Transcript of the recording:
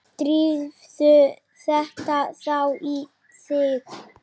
Drífðu þetta þá í þig.